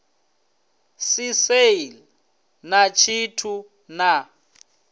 si sale na tshithu na